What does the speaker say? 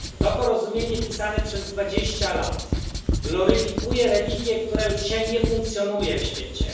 To porozumienie, pisane przez dwadzieścia lat, gloryfikuje religię, która już dzisiaj nie funkcjonuje w świecie.